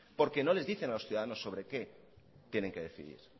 porque no les dicen a los ciudadanos sobre qué tienen que decidir